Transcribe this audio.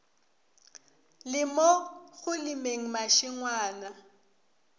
le mo go lemeng mašengwana